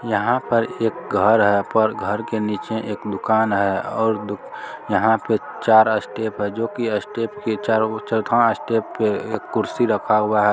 यहाँ पर एक घर है पर घर के नीचे एक दुकान है और दु यहां पे चार स्टेप है जो की स्टेप के चारों और चौथवा स्टेप के एक कुर्सी रखा हुआ है।